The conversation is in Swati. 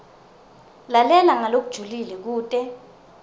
lalela ngalokujulile kute